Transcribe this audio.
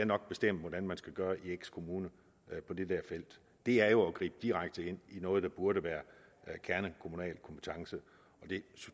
nok bestemme hvordan man skal gøre i x kommune på dette felt det er jo at gribe direkte ind i noget der burde være en kernekommunal kompetence og det